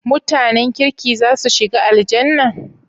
MutAnan kirki zasu shiga Aljannah?